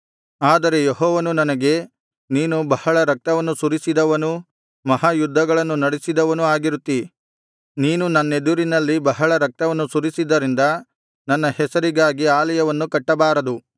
ಆದರೆ ಯೆಹೋವನು ನನಗೆ ನೀನು ಬಹಳ ರಕ್ತವನ್ನು ಸುರಿಸಿದವನೂ ಮಹಾ ಯುದ್ಧಗಳನ್ನು ನಡಿಸಿದವನೂ ಆಗಿರುತ್ತೀ ನೀನು ನನ್ನೆದುರಿನಲ್ಲಿ ಬಹಳ ರಕ್ತವನ್ನು ಸುರಿಸಿದ್ದರಿಂದ ನನ್ನ ಹೆಸರಿಗಾಗಿ ಆಲಯವನ್ನು ಕಟ್ಟಬಾರದು